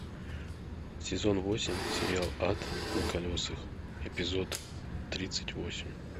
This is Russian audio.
сезон восемь сериал ад на колесах эпизод тридцать восемь